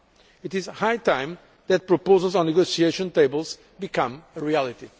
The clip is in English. It is high time that proposals on negotiation tables became reality.